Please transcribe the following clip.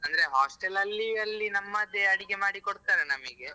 ಅಂದ್ರೆ hostel ಅಲ್ಲಿ ಅಲ್ಲಿ ನಮ್ಮದೇ ಅಡಿಗೆ ಮಾಡಿ ಕೊಡ್ತಾರೆ ನಮಿಗೆ.